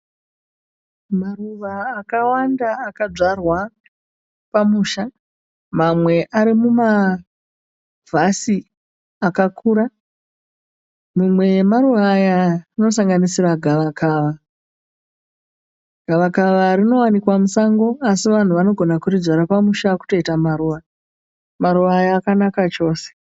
Maruva akawanda akadzvarwa pamusha. Mamwe ari mumavhasi akakura. Mimwe yamaruva aya inosanganisira gavakava. Gavakava rinowanikwa musango asi vanhu vanogona kuridzvara pamusha kutoita maruva. Maruva aya akanaka chose.